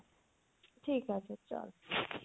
ঠিক আছে চল।